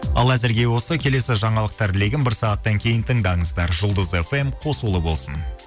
ал әзірге осы келесі жаңалықтар легін бір сағаттан кейін тыңдаңыздар жұлдыз фм қосулы болсын